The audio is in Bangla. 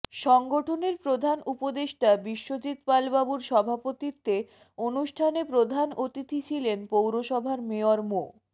সংগঠনের প্রধান উপদেষ্টা বিশ্বজিৎ পাল বাবুর সভাপতিত্বে অনুষ্ঠানে প্রধান অতিথি ছিলেন পৌরসভার মেয়র মো